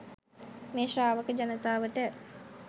මේ ශ්‍රාවක ජනතාවට